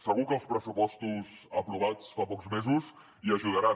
segur que els pressupostos aprovats fa pocs mesos hi ajudaran